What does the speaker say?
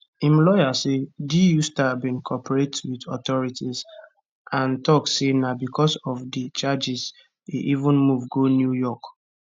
im lawyer say du star bin cooperate wit authorities and tok say na becos of di charges e even move go new york